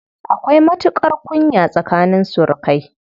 Akwai matuƙar kunya tsakanin surukai.